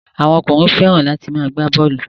Àwọn ọkùnrin fẹ́ràn láti máa gbá bọ́ọ́lù.